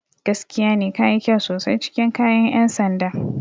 Gaskiya ne, ka yi kyau sosai cikin kayan 'yan sanda.